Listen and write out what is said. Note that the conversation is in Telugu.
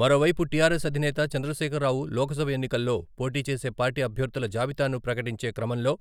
మరోవైపు, టి.ఆర్.ఎస్ అధినేత చంద్రశేఖరరావు లోకసభ ఎన్నికల్లో పోటీ చేసే పార్టీ అభ్యర్థుల జాబితాను ప్రకటించే క్రమంలో